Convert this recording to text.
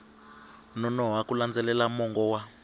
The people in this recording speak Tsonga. nonoha ku landzelela mongo wa